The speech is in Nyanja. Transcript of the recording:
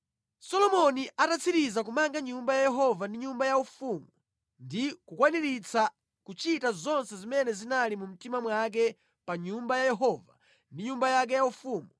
Solomoni atatsiriza kumanga Nyumba ya Yehova ndi nyumba yaufumu ndi kukwaniritsa kuchita zonse zimene zinali mu mtima mwake pa Nyumba ya Yehova ndi nyumba yake yaufumu,